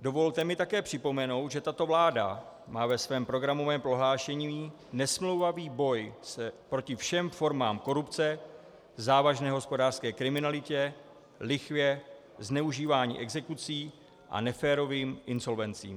Dovolte mi také připomenout, že tato vláda má ve svém programovém prohlášení nesmlouvavý boj proti všem formám korupce, závažné hospodářské kriminalitě, lichvě, zneužívání exekucí a neférovým insolvencím.